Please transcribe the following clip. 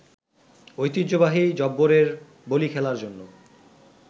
ঐতিহ্যবাহী জব্বরের বলী খেলার জন্য